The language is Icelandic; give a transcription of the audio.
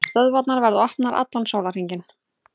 Stöðvarnar verða opnar allan sólarhringinn